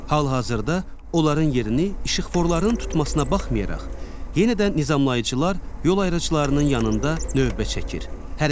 Hal-hazırda onların yerini işıqforların tutmasına baxmayaraq, yenə də nizamlayıcılar yol ayrıcılarının yanında növbə çəkir.